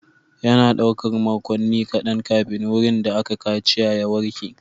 Yana ɗaukar makonni kaɗan kafin wurin da aka kaciya ya warke.